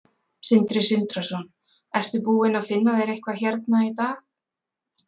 Sindri Sindrason: Ertu búinn að finna þér eitthvað hérna í dag?